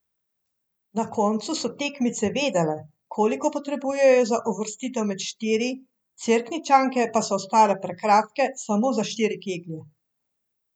Na koncu so tekmice vedele, koliko potrebujejo za uvrstitev med štiri, Cerkničanke pa so ostale prekratke samo za štiri keglje.